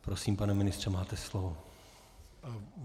Prosím, pane ministře, máte slovo.